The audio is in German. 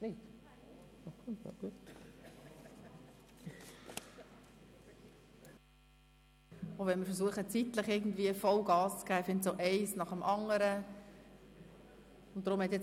Auch wenn wir zeitlich Vollgas geben wollen, werden wir ein Thema nach dem anderen diskutieren.